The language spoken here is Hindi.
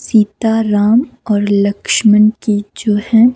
सीताराम और लक्ष्मण की जो है।